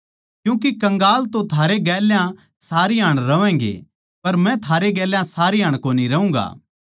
क्यूँके कंगाल तो थारै गेल्या सारी हाण रहवैंगे पर मै थारै गेल्या सारी हाण कोनी रहूँगा